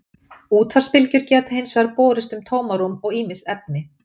útvarpsbylgjur geta hins vegar borist um tómarúm og ýmis efni